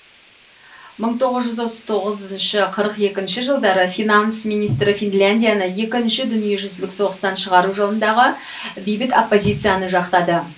мың тоғыз жүз отыз тоғыз қырық екінші жылдары финанс министрі финляндияны екінші дүниежүзілік соғыстан шығару жолындағы бейбіт оппозицияны жақтады